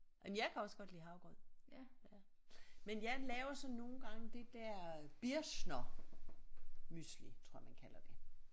Jamen jeg kan også godt lide havregrød ja men jeg laver så nogle gange det der Birchner mysli tror jeg man kalder det